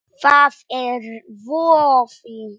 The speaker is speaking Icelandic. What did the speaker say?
Það er voði